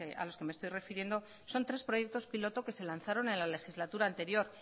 a los que me estoy refiriendo son tres proyectos piloto que se lanzaron en la legislatura anterior